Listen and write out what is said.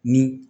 Ni